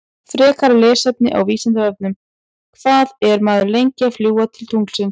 Frekara lesefni á Vísindavefnum: Hvað er maður lengi að fljúga til tunglsins?